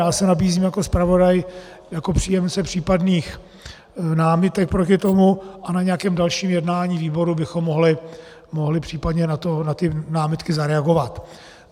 Já se nabízím jako zpravodaj, jako příjemce případných námitek proti tomu, a na nějakém další jednání výboru bychom mohli případně na ty námitky zareagovat.